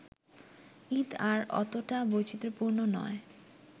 ঈদ আর অতটা বৈচিত্রপূর্ণ নয়